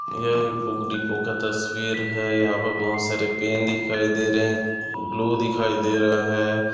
ये एक book depot का तस्वीर है यहाँ पर बहुत सारे पेन दिखाई दे रहे है ग्लू दिखाई दे रहा है।